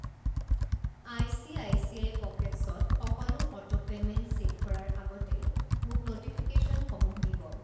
ICICI পকেটছ্ত সকলো auto payment set কৰাৰ আগতে মোক ন'টিফিকেশ্যনসমূহ দিব।